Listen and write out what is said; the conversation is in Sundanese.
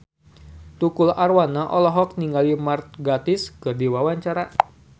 Tukul Arwana olohok ningali Mark Gatiss keur diwawancara